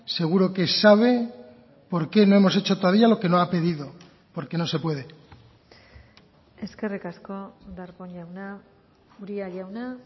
seguro que sabe por qué no hemos hecho todavía lo que no ha pedido porque no se puede eskerrik asko darpón jauna uria jauna